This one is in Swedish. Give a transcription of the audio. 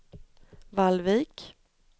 Vallvik